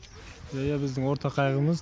иә біздің ортақ қайғымыз